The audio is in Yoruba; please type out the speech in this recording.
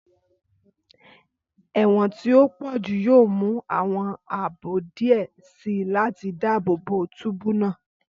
Ẹwọn ti o pọju yoo mu awọn aabo diẹ sii lati daabobo túbú naa.